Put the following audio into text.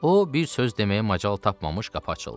O bir söz deməyə macal tapmamış qapı açıldı.